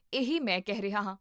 ਇਹੀ ਮੈਂ ਕਹਿ ਰਿਹਾ ਹਾਂ